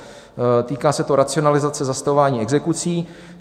Týká se to racionalizace zastavování exekucí.